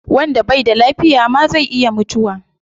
Wanda bai da lafiya ma zai iya mutuwa